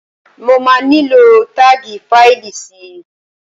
Mo máa nílò táàgì fáìlì si.